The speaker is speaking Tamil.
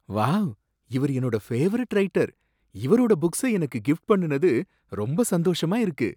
வாவ்! இவரு என்னோட பேவரைட் ரைட்டர், இவரோட புக்ஸை எனக்கு கிஃப்ட் பண்ணுனது எனக்கு ரொம்ப சந்தோஷமா இருக்கு